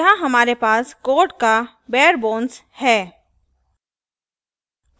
यहाँ हमारे पास code का bare bones है